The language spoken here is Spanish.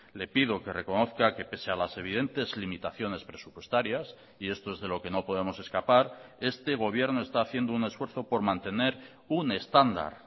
le pido que reconozca que pese a las evidentes limitaciones presupuestarias y esto es de lo que no podemos escapar este gobierno está haciendo un esfuerzo por mantener un estándar